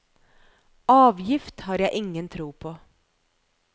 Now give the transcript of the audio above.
Avgift har jeg ingen tro på.